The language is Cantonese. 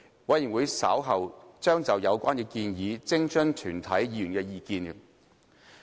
委員會稍後將就有關建議徵詢全體議員的意見。